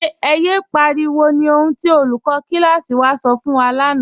Ẹ̀ yẹ pariwo ni ohun tí olùkọ̀ kílásí wà sọ̀ fun wa lána.